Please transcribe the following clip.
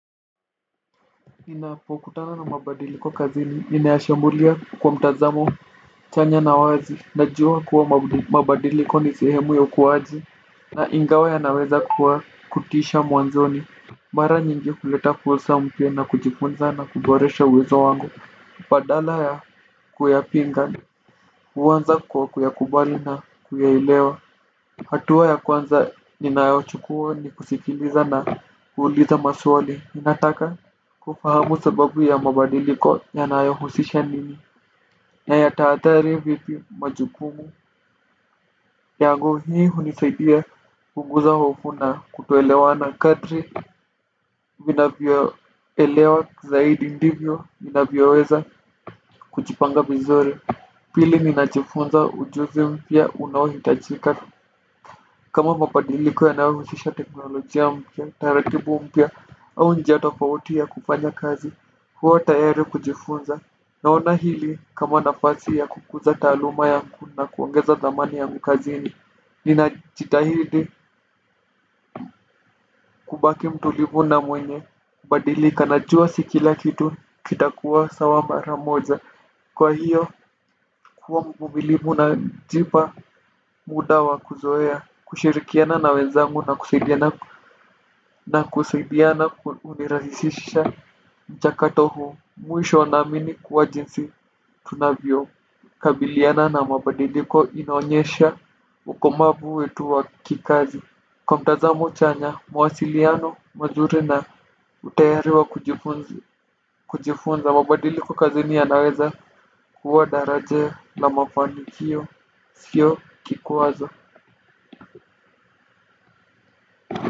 Ninapokutana na mabadiliko kwa kazini, ninayashambullia kwa mtazamo chanya na wazi. Najua kuwa mabadiliko kwa ni sihemu ya ukuaji. Na ingawa yanaweza kuwa kutisha mwanzoni mara nyingi huleta fursa mpya na kujifunza na kuboresha uwezo wako badala ya kuyapinga, huanza kwa kuyakubali na kuyaelewa. Hatua ya kwanza ninayochukua ni kusikiliza na kuuliza maswali ninataka kufahamu sababu ya mabadiliko yanayohusisha nini na yataadhiri vipi majukumu. Yangu hii hunisaidia kupunguza hofu na kutoelewa na kadri vinavyoelewa zaidi ndivyo ninavyoweza kujipanga vizuri. Pili mimi ninajifunza ujuzi mpya unaohitajika. Kama mabadiliko yanayohusisha teknolojia mpya taratibu mpya au njia tofauti ya kufanya kazi huwa tayari kujifunza. Naona hili kama nafasi ya kukuza taaluma yangu na kuongeza dhamani yangu kazini. Ninajitahidi kubaki mtulivu na mwenye badilika najua si kila kitu kitakuwa sawa mara moja. Kwa hiyo kuwa mvumilivu najipa muda wa kuzoea kushirikiana na wenzangu na kusaidiana. Na kusaidiana hunirahisisha mchakato huu mwisho naamini kuwa jinsi tunavyokabiliana na mabadiliko inaonyesha ukomavu wetu wa kikazi kwa mtazamo chanya mawasiliano mazuri na utayari wa kujifunza. Mabadiliko kazini yanaweza kuhuwa daraja la mafanikio sio kikwazo.